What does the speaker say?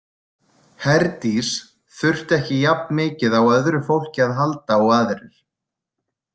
Herdís þurfti ekki jafn mikið á öðru fólki að halda og aðrir.